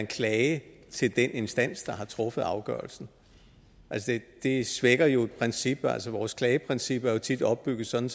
klage til den instans der har truffet afgørelsen det svækker jo et princip altså vores klageprincip er jo tit opbygget sådan